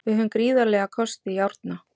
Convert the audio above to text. Við höfum gríðarlega kosti í Árna.